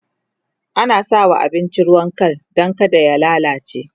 ana sawa abinci ruwan Kal Dan kada ya lallace